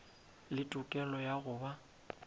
le tokelo ya go ba